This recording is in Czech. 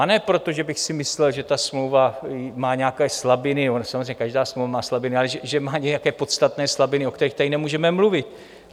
A ne proto, že bych si myslel, že ta smlouva má nějaké slabiny, ona samozřejmě každá smlouva má slabiny, ale že má nějaké podstatné slabiny, o kterých tady nemůžeme mluvit.